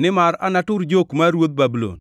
‘nimar anatur jok mar ruodh Babulon.’ ”